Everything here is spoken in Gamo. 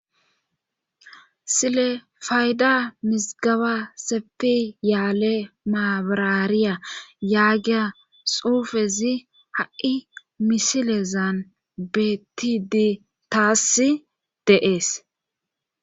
silefayda misgaba sepi yaale maabraariya yaagiya xuufezi ha7i misilezan betidi taassi deees